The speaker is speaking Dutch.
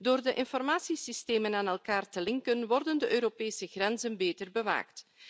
Door de informatiesystemen aan elkaar te linken worden de Europese grenzen beter bewaakt.